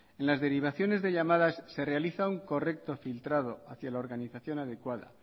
en las derivaciones de llamadas se realiza un correcto filtrado hacia la organización adecuada